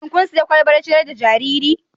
Shin kun sayi kwalban ciyar da jariri?